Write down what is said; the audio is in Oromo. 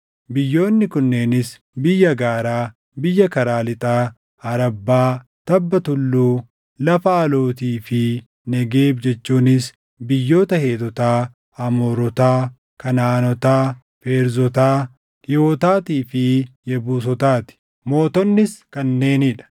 Biyyoonni kunneenis biyya gaaraa, biyya karaa lixaa, Arabbaa, tabba tulluu, lafa alootii fi Negeebi jechuunis biyyoota Heetotaa, Amoorotaa, Kanaʼaanotaa, Feerzotaa, Hiiwotaatii fi Yebuusotaa ti. Mootonnis kanneenii dha: